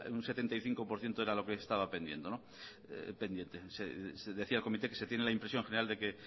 un setenta y cinco por ciento era lo que estaba pendiente decía el comité que se tiene la impresión general de que